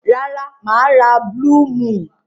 Rara, maa ra blue moon.